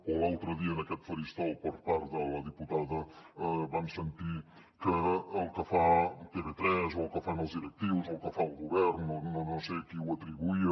o l’altre dia en aquest faristol per part de la diputada vam sentir que el que fa tv3 o el que fan els directius o el que fa el govern no sé a qui ho atribuïa